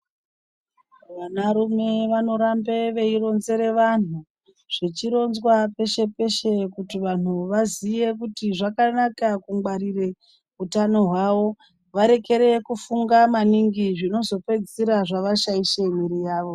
Vana rume vanoramba veironzera vanhu zvichironzwa peshe peshe kuti vantu zvakanaka kungwarira hutano hwavo maningi kupedzisira zvavashaisha mwiri yawo.